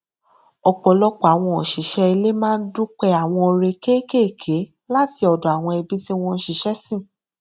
ọpọlọpọ àwọn òṣìṣẹ ilé máa n dúpẹ àwọn oore kékékèé láti ọdọ àwọn ẹbí tí wọn n ṣiṣẹ sìn